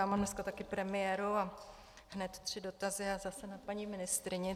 Já mám dneska také premiéru a hned tři dotazy a zase na paní ministryni.